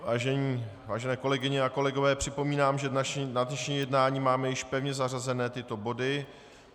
Vážené kolegyně a kolegové, připomínám, že na dnešní jednání máme již pevně zařazené tyto body.